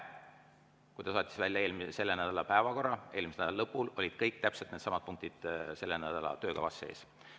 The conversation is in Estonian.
Kui ta saatis välja selle nädala päevakorra eelmise nädala lõpul, siis olid kõik täpselt needsamad punktid selle nädala töökavas sees.